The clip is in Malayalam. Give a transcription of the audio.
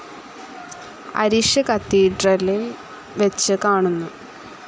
അരിശ കത്തീഡ്രലിൽ വെച്ച് കാണുന്നു.